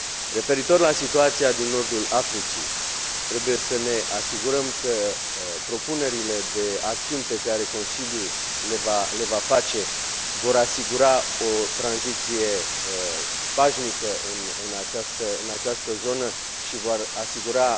Referitor la situația din nordul Africii, trebuie să ne asigurăm că propunerile de acțiuni pe care Consiliul le va face vor asigura o tranziție pașnică în această zonă și vor asigura